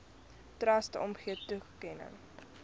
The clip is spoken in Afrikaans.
trust omgee toekenning